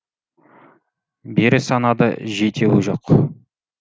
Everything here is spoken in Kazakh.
бері санады жетеуі жоқ